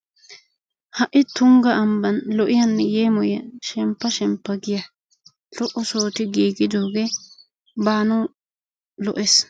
Ha'i tungga ambban lo'iyanne yeemoyiya shemppa shemppa giya lo'o sohoti giigidoogee baanawu lo'ees.